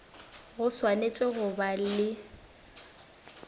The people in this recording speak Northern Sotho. go swanetše go ba le